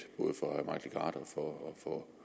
for